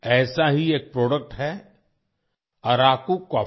ऐसा ही एक प्रोडक्ट है अराकू कॉफी